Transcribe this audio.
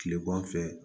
Kileman fɛ